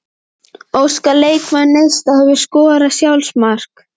Óskar leikmaður Neista Hefurðu skorað sjálfsmark?